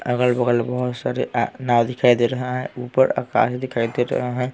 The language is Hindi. अगल बगल बहुत सारे नाव दिखाई दे रहे हैं ऊपर आकाश दिखाई दे रहे हैं।